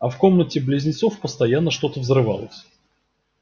а в комнате близнецов постоянно что-то взрывалось